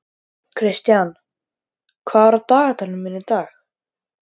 Kristian, hvað er á dagatalinu mínu í dag?